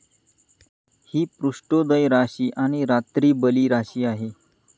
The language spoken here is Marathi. हि पृष्ठोदय राशी आणि रात्रीबली राशी आहे.